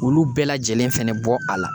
Olu bɛɛ lajɛlen fɛnɛ bɔ a la